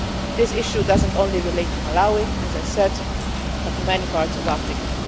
This issue does not only relate to Malawi, as I said, but to many parts of Africa.